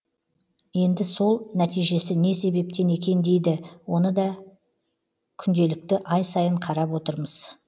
енді сол нәтижесі не себептен екен дейді оны да күнделікті ай сайын қарап отырмыз